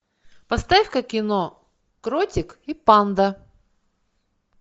поставь ка кино кротик и панда